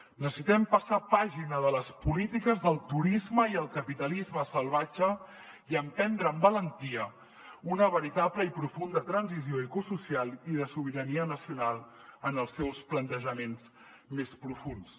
necessitem passar pàgina de les polítiques del turisme i el capitalisme salvatge i emprendre amb valentia una veritable i profunda transició ecosocial i de sobirania nacional en els seus plantejaments més profunds